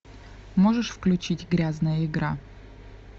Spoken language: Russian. можешь включить грязная игра